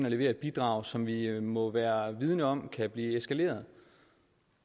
og levere et bidrag som vi må være vidende om kan blive eskaleret